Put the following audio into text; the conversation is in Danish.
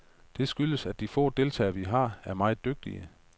Det skyldes, at de få deltagere vi har, er meget dygtige.